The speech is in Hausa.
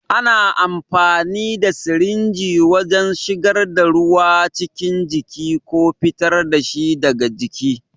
Ana amfani da sirinji wajen shigar da ruwa cikin jiki ko fitar da shi daga jiki.